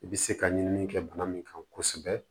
I bɛ se ka ɲinini kɛ bana min kan kosɛbɛ